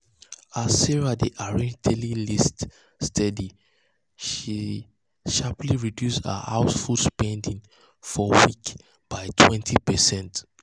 as sarah dey arrange daily list steady she steady she sharply reduce her house food spending for week by 20%.